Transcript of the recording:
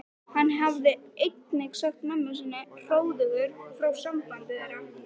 Hann hafði einnig sagt mömmu sinni hróðugur frá sambandi þeirra